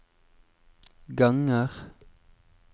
ganger